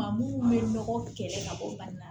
Maa mun bɛ nɔgɔ kɛlɛ ka bɔ bana in na